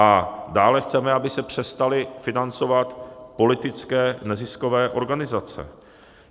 A dále chceme, aby se přestaly financovat politické neziskové organizace.